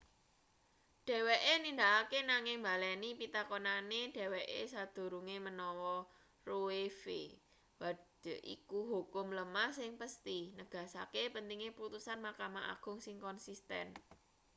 dheweke nindakake nanging mbaleni pitakonane dheweke sadurunge menawa roe.v wade iku hukum lemah sing pesthi” negasake pentinge putusan mahkamah agung sing konsisten